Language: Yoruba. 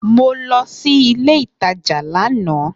Mo lo sí ilé ìtajà láàná